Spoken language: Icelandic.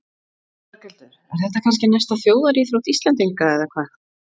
Berghildur, er þetta kannski næsta þjóðaríþrótt Íslendinga eða hvað?